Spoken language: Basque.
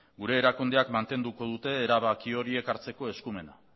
gure erakundeak mantenduko dute erabaki horiek erabakitzeko eskumena